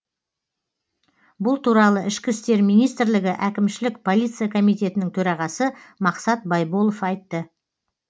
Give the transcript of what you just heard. бұл туралы ішкі істер министрлігі әкімшілік полиция комитетінің төрағасы мақсат байболов айтты